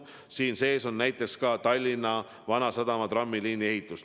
Samuti on siin sees näiteks Tallinna Vanasadama trammiliini ehitus.